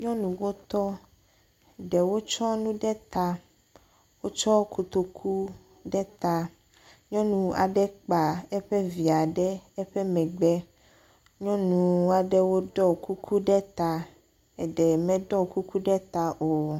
Nyɔnuwo tɔ ɖewo tsɔ nu ɖe ta. Wotsɔ kotoku ɖe ta. Nyɔnu aɖe ekpa eƒe via ɖe eƒe megbe. Nyɔnu aɖewo ɖɔ kuku ɖe ta eɖe meɖe kuku ɖe ta o.